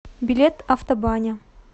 билет автобаня